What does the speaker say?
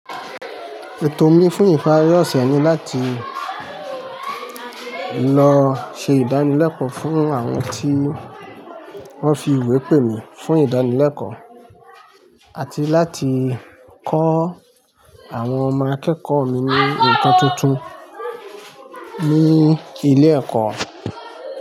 Ètò mi fún ìpari ọ̀sẹ̀ ni láti lọ ṣe ìdánilẹ́kọ̀ọ́ fún àwọn tí wọ́n fi ìwé pè mi fún ìdánilẹ́kọ̀ọ́ àti láti kọ́ àwọn ọmọ akẹ́kọ̀ọ́ mi ní ǹkan tuntun ní ilé ẹ̀kọ́.